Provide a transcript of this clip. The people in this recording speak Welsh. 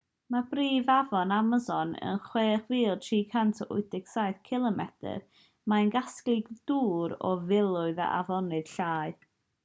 mae'r brif afon amason yn 6,387 cilomedr 3,980 milltir. mae hi'n casglu dŵr o filoedd o afonydd llai